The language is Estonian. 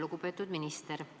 Lugupeetud minister!